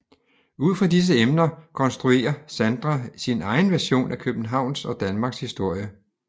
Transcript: Ud fra disse emner konstruere Sandra sin egen version af Københavns og Danmarks historie